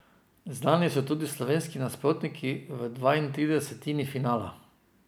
Znani so tudi slovenski nasprotniki v dvaintridesetini finala.